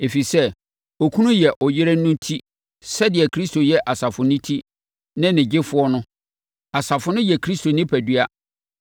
ɛfiri sɛ okunu yɛ ɔyere no ti sɛdeɛ Kristo yɛ asafo no ti ne ne Gyefoɔ no. Asafo no yɛ Kristo onipadua.